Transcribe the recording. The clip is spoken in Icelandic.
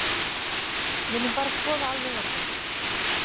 Viljum bara skoða alveg opið.